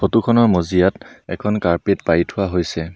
Photo খনৰ মজিয়াত এখন কাৰ্পেট পাৰি থোৱা হৈছে।